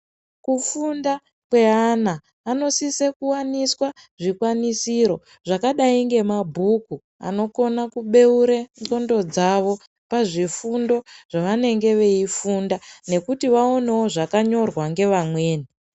Kufunda kweana vanosisa kuwaniswa zvikwanisiro zvakadayi ngemabhuku anokona kubeure ndxondo dzavo pazvifundo zvavanenge veyifunda nekuti vaonewo zvakanyorwawo ngevamweni.